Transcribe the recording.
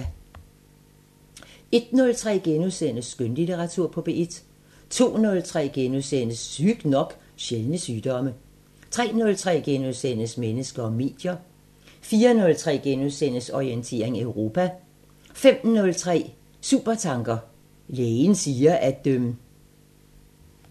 01:03: Skønlitteratur på P1 * 02:03: Sygt nok: Sjældne sygdomme * 03:03: Mennesker og medier * 04:03: Orientering Europa * 05:03: Supertanker: Lægen siger at ...